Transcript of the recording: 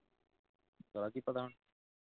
ਕੀ ਪਤਾ